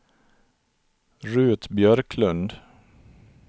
Rut Björklund